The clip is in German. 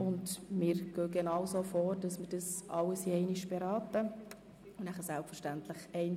Anschliessend werden wir einzelnen darüber abstimmen.